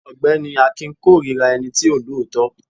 ọgbẹni akin korira ení tí o lọọtọ.